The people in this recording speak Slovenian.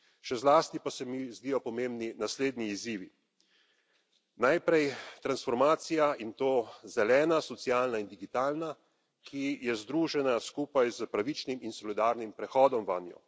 Še zlasti pa se mi zdijo pomembni naslednji izzivi najprej transformacija, in to zelena, socialna in digitalna, ki je združena skupaj s pravičnim in solidarnim prehodom vanjo.